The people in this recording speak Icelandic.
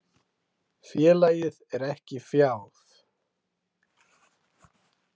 Félagið er ekki fjáð.